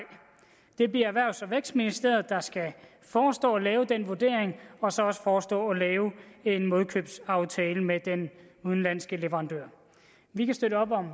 det bliver erhvervs og vækstministeriet der skal forestå at lave den vurdering og så også forestå at lave en modkøbsaftale med den udenlandske leverandør vi kan støtte op om